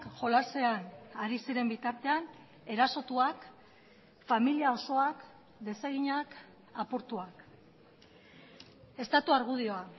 jolasean ari ziren bitartean erasotuak familia osoak deseginak apurtuak estatu argudioa